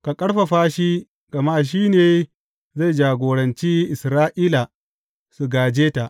Ka ƙarfafa shi gama shi ne zai jagoranci Isra’ila su gāje ta.